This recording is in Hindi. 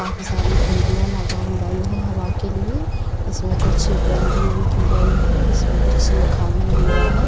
काफी सारी खिड़कियाँ लगाई गई हैं हवा के लिए। इसमें कुछ पेंटिंग भी की गई है जिसपर कुछ लिखा भी हुआ है।